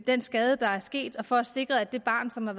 den skade der er sket og for at sikre at det barn som er